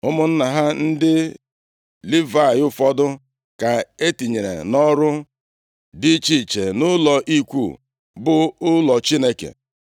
Ụmụnna ha ndị Livayị ụfọdụ ka e tinyere nʼọrụ dị iche iche nʼụlọ ikwu, bụ ụlọ Chineke.